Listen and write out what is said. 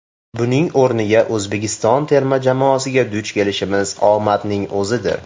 Buning o‘rniga, O‘zbekiston terma jamoasiga duch kelishimiz omadning o‘zidir.